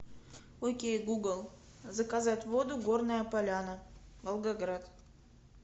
окей гугл заказать воду горная поляна волгоград